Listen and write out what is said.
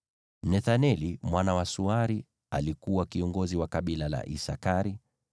Nethaneli mwana wa Suari alikuwa kiongozi wa kabila la Isakari,